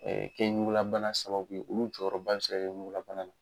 kɛ ɲugulabana sababu ye olu jɔyɔrɔba bɛ se ka kɛ ɲugulabana na